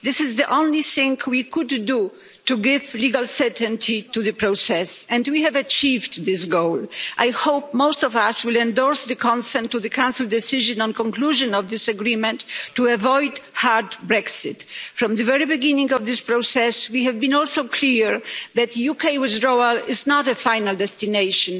This is the only thing we could do to give legal certainty to the process, and we have achieved this goal. I hope most of us will endorse the consent to the Council Decision on the conclusion of this agreement to avoid a hard Brexit. From the very beginning of this process, we have been also clear that UK withdrawal is not a final destination.